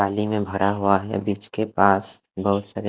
पाली में भरा हुआ है बिच के पास बहुत सारे--